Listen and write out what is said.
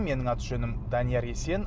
менің аты жөнім данияр есен